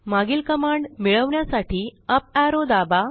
मागील कमांड मिळवण्यासाठी up arrow दाबा